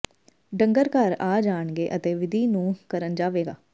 ਡੰਗਰ ਘਰ ਆ ਜਾਣਗੇ ਅਤੇ ਵਿਧੀ ਨੂੰ ਕਰਨ ਜਾਵੇਗਾ